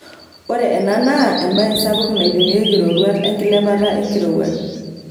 Ore ena naa embae sapuk naipimieki roruat emkilepata enkirowuaj.